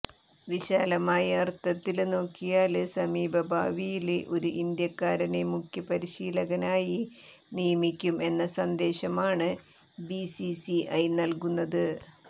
വിശാലമായ അര്ത്ഥത്തില് നോക്കിയാല് സമീപഭാവിയില് ഒരു ഇന്ത്യക്കാരനെ മുഖ്യ പരിശീലകനായി നിയമിക്കും എന്ന സന്ദേശമാണ് ബിസിസിഐ നല്കുന്നത്